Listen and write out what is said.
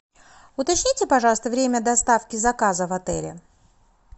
уточните пожалуйста время доставки заказа в отеле